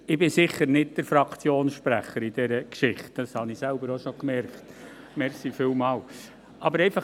Ich bin sicher nicht Fraktionssprecher in dieser Geschichte, das habe ich selbst auch schon bemerkt.